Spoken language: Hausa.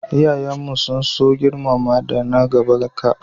iyayen mu sun so girmamawa da na gaban ka